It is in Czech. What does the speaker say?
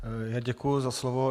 Děkuji za slovo.